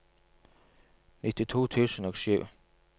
nittito tusen og sju